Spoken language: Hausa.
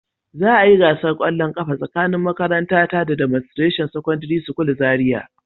Za a yi gasar kwallon kafa tsakanin makarantara da "Demonstration secondary school" Zariya